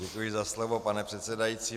Děkuji za slovo, pane předsedající.